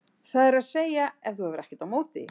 það er að segja ef þú hefur ekkert á móti því.